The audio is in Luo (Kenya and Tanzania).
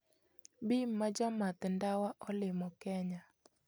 Bim ma jamath ndawa olimo Kenya